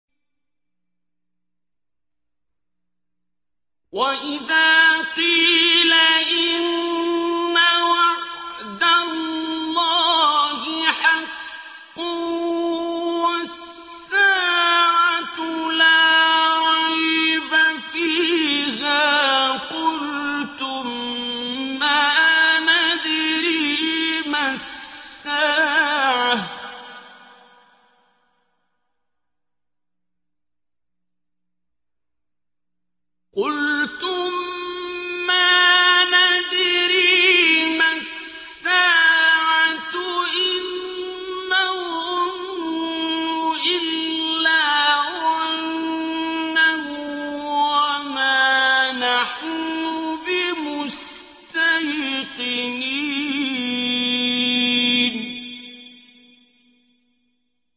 وَإِذَا قِيلَ إِنَّ وَعْدَ اللَّهِ حَقٌّ وَالسَّاعَةُ لَا رَيْبَ فِيهَا قُلْتُم مَّا نَدْرِي مَا السَّاعَةُ إِن نَّظُنُّ إِلَّا ظَنًّا وَمَا نَحْنُ بِمُسْتَيْقِنِينَ